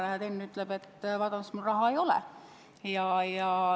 Aga näed, Enn ütleb, et vabandust, mul raha ei ole.